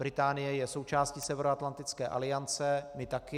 Británie je součástí Severoatlantické aliance, my taky.